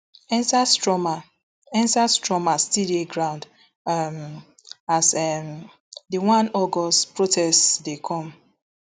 endsars trauma endsars trauma still dey ground um as um di one august protests dey come